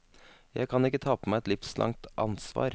Jeg kan ikke ta på meg et livslangt ansvar.